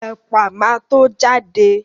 Ẹ̀pà ma tó jáde